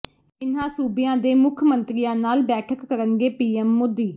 ਇਨ੍ਹਾਂ ਸੂਬਿਆਂ ਦੇ ਮੁੱਖ ਮੰਤਰੀਆਂ ਨਾਲ ਬੈਠਕ ਕਰਨਗੇ ਪੀਐੱਮ ਮੋਦੀ